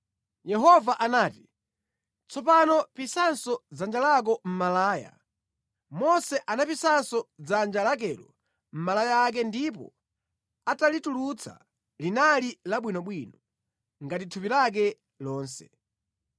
Yehova anati, “Tsopano pisanso dzanja lako mʼmalaya.” Mose anapisanso dzanja lakelo mʼmalaya ake ndipo atalitulutsa, linali labwinobwino, ngati thupi lake lonse.